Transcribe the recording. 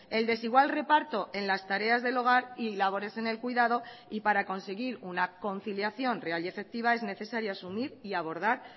el desigual reparto en las tareas del hogar y labores en el cuidado y para conseguir una conciliación real y efectiva es necesaria asumir y abordar